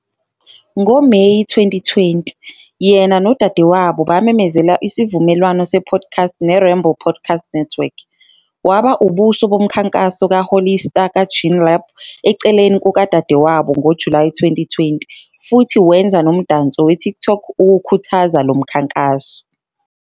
NgoMeyi 2020, yena nodadewabo bamemezela isivumelwano se-podcast neRamble Podcast Network. Waba ubuso bomkhankaso kaHollister "kaJean Lab" eceleni kukadadewabo ngoJulayi 2020, futhi wenza nomdanso weTikTok ukukhuthaza lo mkhankaso.